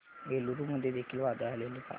एलुरू मध्ये देखील वादळ आलेले का